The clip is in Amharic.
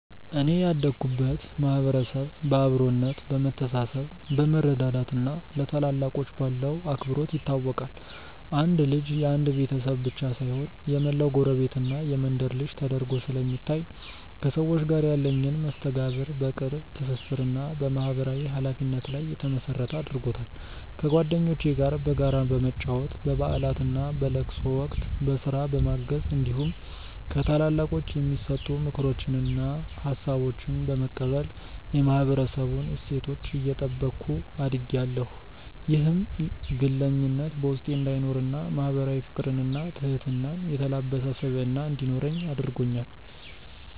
እኔ ያደኩበት ማህበረሰብ በአብሮነት፣ በመተሳሰብ፣ በመረዳዳት እና ለታላላቆች ባለው አክብሮት ይታወቃል። አንድ ልጅ የአንድ ቤተሰብ ብቻ ሳይሆን የመላው ጎረቤትና መንደር ልጅ ተደርጎ ስለሚታይ፣ ከሰዎች ጋር ያለኝን መስተጋብር በቅርብ ትስስር እና በማህበራዊ ኃላፊነት ላይ የተመሰረተ አድርጎታል። ከጓደኞቼ ጋር በጋራ በመጫወት፣ በበዓላትና በለቅሶ ወቅት በስራ በማገዝ እንዲሁም ከታላላቆች የሚሰጡ ምክሮችንና ሀሳቦችን በመቀበል የማህበረሰቡን እሴቶች እየጠበኩ አድጌያለሁ። ይህም ግለኝነት በውስጤ እንዳይኖርና ማህበራዊ ፍቅርንና ትህትናን የተላበሰ ስብዕና እንዲኖረኝ አድርጎኛል።